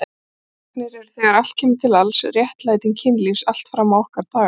Barneignir eru þegar allt kemur til alls réttlæting kynlífs allt fram á okkar daga.